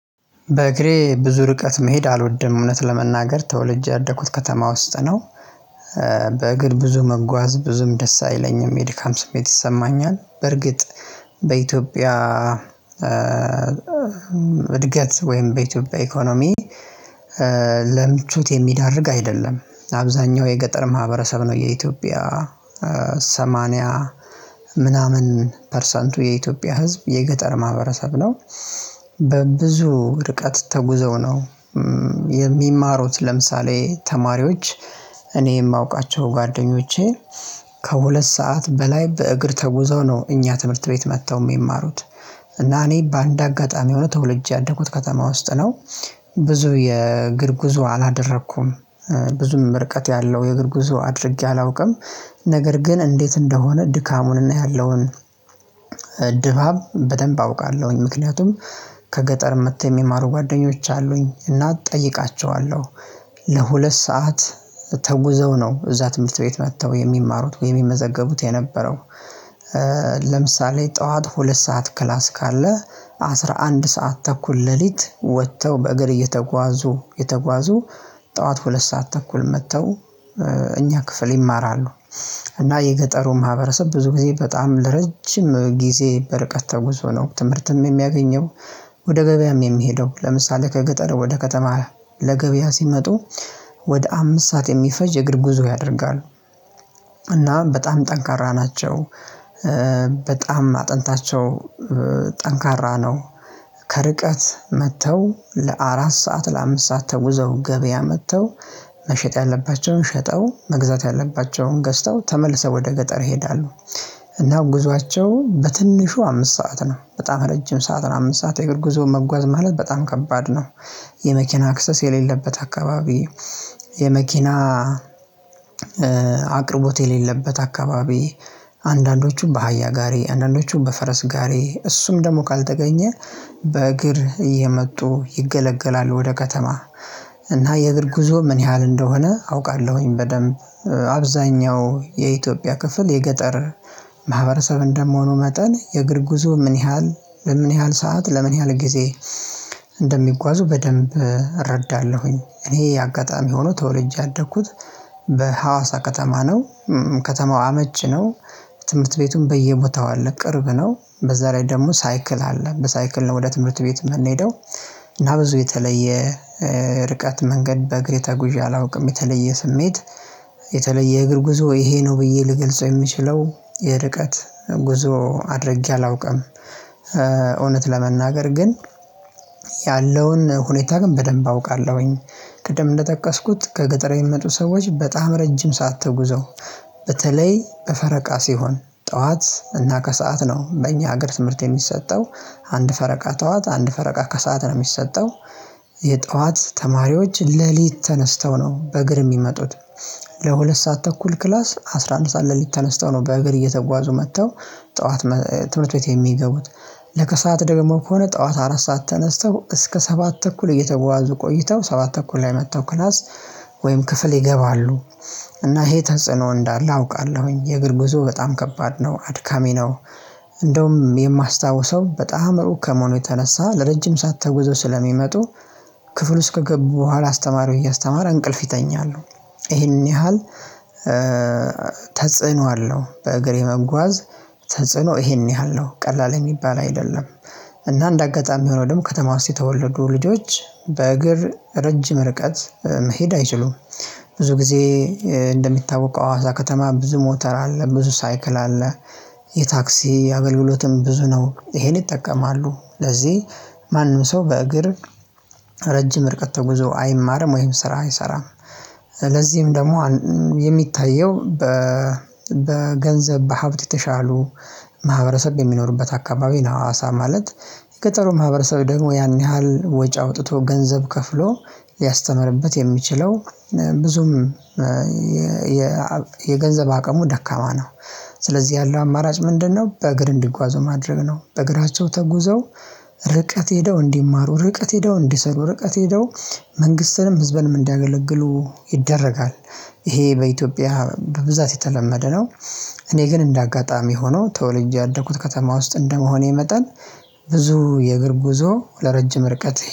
በእግሬ ብዙ ርቀት መሄድ አልወድም እውነት ለመናገር ተወልጄ ያደኩት ከተማ ውስጥ ነው። በእግር ብዙ መጓዝ ብዙም ደስ አይለኝም የድካም ስሜት ይሰማኛል በርግጥ። በኢትዮጵያ እድገት ወይም በኢትዮጵያ ኢኮኖሚ ለምቹት የሚያዳርግ አይደለም። አብዛኛው የገጠር ማህበረሰብ ነው የኢትዮጵያ ሰማንያ ፐርሰንቱ የኢትዮጵያ ህዝብ የገጠር ማህበረሰብ ነው። በብዙ ርቀት ተጉዘው ነው። የሚማሩት ለምሳሌ ተማሪዎች እኔ የማውቃቸው ጓደኞቼ ከሁለት ሰዓት በላይ በእግር ተጉዘው ነው እኛ ትምህርት ቤት መጥተው የሚማሩት። እና እኔ በአንድ አጋጣሚ ሆኖ ተወልጄ ያደጉት ከተማ ውስጥ ነው። ብዙ የእግር ጉዞ አላደረኩም። ብዙም ርቀት ያለው የእግር ጉዞ አድርጌ አላውቅም። ነገር ግን እንዴት እንደሆነ ድካሙን እና ያለውን ድባብ በደንብ አውቃለሁኝ። ምክንያቱም ከገጠር መጥተው የሚማሩ ጓደኞች አሉኝ እና እጠይቃቸዋለሁ። ለሁለት ሰዓት ተጉዘው ነው እዛ ትምህርት ቤት መጥተው የሚማሩት ወይ የሚመዘገቡት የነበረው። ለምሳሌ ጠዋት ሁለት ሰዓት ክላስ ካለ አስራ አንድ ሰዓት ተኩል ሌሊት ወጥተው በእግር እየተጓዙ የተጓዙ ጠዋት ሁለት ሰዓት ተኩል መጥተው እኛ ክፍል ይማራሉ። እና የገጠሩም ማህበረሰብ ብዙ ጊዜ በጣም ለረጅም ጊዜ በርቀት ተጉዞ ነው ትምህርትም የሚያገኘው። ወደ ገበያም የሚሄደው ለምሳሌ ከገጠር ወደ ከተማ ለገበያ ሲመጡ ወደ አምስት ሰዓት የሚፈጅ የእግር ጉዞ ያደርጋሉ። እናም በጣም ጠንካራ ናቸው። በጣም አጥንታቸው ጠንካራ ነው። ከርቀት መጥተው ለአራት ሰዓት ለአምስት ሰዓት ተጉዘው ገበያ መጥተው መሸጥ ያለባቸውን ሸጠው መግዛት ያለባቸውን ገዝተው ተመልሰው ወደ ገጠር ይሄዳሉ። እና ጉዟቸው በትንሹ አምስት ሰዓት ነው በጣም ረጅም ሰዓት ነው አምስት ሰዓት የግብር ጉዞ መጓዝ ማለት በጣም ከባድ ነው። የመኪና አክሰስ የሌለበት አካባቢ የመኪና አቅርቦት የሌለበት አካባቢ። አንዳንዶቹም በአህያ ጋሬ አንዳንዶቹም በፈረስ ጋሬ እሱም ደግሞ ካልተገኘ በእግር እየመጡ ይገለገላል ወደ ከተማ። እና የእግር ጉዞ ምን ያህል እንደሆነ አውቃለሁኝ በደንብ አብዛኛው የኢትዮጵያ ክፍል የገጠር ማህበረሰብ እንደምሆኑ መጠን የእግር ጉዞ ምን ያህል ለምን ያህል ሰዓት ለምን ያህል ጊዜ እንደሚጓዙ በደንብ እረዳለሁኝ። እኔ አጋጣሚ ሆኖ ተወልጄ ያደኩት በሀዋሳ ከተማ ነው። ከተማው አመች ነው። ትምህርት ቤቱን በየቦታው አለ ቅርብ ነው በዛ ላይ ደግሞ ሳይክል አለ በሳይክል ነው ወደ ትምህርት ቤት የምንሄደው። እና ብዙ የተለየ ርቀት መንገድ በእግሬ ተጉዣ አላውቅም የተለየ ስሜት የተለየ እግር ጉዞ ይሄ ነው ብዬ ልገልጸው የምችለው የርቀት ጉዞ አድርጌ አላውቅም። እውነት ለመናገር ግን ያለውን ሁኔታ ግን በደንብ አውቃለሁኝ። ቅድም እንደጠቀስኩት ከገጠረ የሚመጡ ሰዎች በጣም ረጅም ሳትጉዘው በተለይ ፈረቃ ሲሆን ጠዋት እና ከሰአት ነው። በእኛ ሀገር ትምህርት የሚሰጠው አንድ ፈረቃ ጠዋት አንድ ፈረቃ ከሰአት ነው የሚሰጠው። የጠዋት ተማሪዎች ሌሊት ተነስተው ነው በእግር የሚመጡት። ለሁለት ሰዓት ተኩል ክላስ አስራ አንድ ሰዓት ለሊት ተነስተው ነው በእግር እየተጓዙ መጥተው። ጠዋት ትምህርት ቤት የሚገቡት። ለከሰአት ደግሞ ከሆነ ጠዋት አራት ሰዓት ተነስተው እስከ ሰባት ተኩል እየተዋዙ ቆይተው ሰባት ተኩል ላይ መጥተው ክላስ ወይም ክፍል ይገባሉ። እና ይሄ ተንጽኖ እንዳለ አውቃለሁኝ የእግር ጉዞ በጣም ከባድ ነው አድካሚ ነው። እንደውም የማስታውሰው በጣም ሩቅ ከመሆኑ የተነሳ ለረጅም ሰዓት ተጉዘው ስለሚመጡ ክፍል ውስጥ ከገቡ በኋላ አስተማሪው እያስተማረ እንቅልፍ ይተኛሉ። ይሄን ያህል ተጽዕኖ አለው። በእግሬ መጓዝ ተጽዕኖ ይሄን ያህል ነው ቀላል የሚባል አይደለም። እና እንደ አጋጣሚ ሆኖ ደግሞ ከተማው ውስጥ የተወለዱ ልጆች በእግር ረጅም ርቀት መሄድ አይችሉም። ብዙ ጊዜ እንደሚታወቀው አዋሳ ከተማ ብዙ ሞተር አለ ብዙ ሳይክል አለ። የታክሲ የአገልግሎትም ብዙ ነው ይሄን ይጠቀማሉ ለዚህ ማንም ሰው በእግር ረጅም ርቀት ተጉዞ አይማርም ወይም ስራ አይሰራም። ለዚህም ደግሞ የሚታየው በገንዘብ በሀብት የተሻሉ ማህበረሰብ የሚኖሩበት አካባቢ ነው። አዋሳ ማለት ገጠሩ ማህበረሰብ ደግሞ ያን ያህል ወጪ አውጥቶ ገንዘብ ከፍሎ ሊያስተምርበት የሚችለው ብዙም የገንዘብ አቅሙ ደካማ ነው። ስለዚህ ያለው አማራጭ ምንድነው? በእግር እንዲጓዙ ማድረግ ነው። በእግራቸው ተጉዘው ርቀት ሄደው እንዲማሩ ርቀት ሄደው እንዲሰሩ ርቀት ሄደው መንግስትንም ህዝበንም እንዳገለግሉ ይደረጋል። ይሄ በኢትዮጵያ በብዛት የተለመደ ነው። እኔ ግን እንደ አጋጣሚ ሆኖ ተወልዬ ያደኩት ከተማ ውስጥ እንደመሆኔ መጠን ብዙ የእግር ጉዞ ለረጅም ርቀት